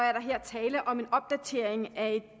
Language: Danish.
er der her tale om en opdatering af